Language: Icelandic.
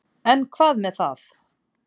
En hvað með það.